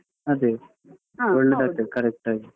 ಅದೇ ಒಳ್ಳೇದಾಗ್ತದೆ correct ಆಗಿ.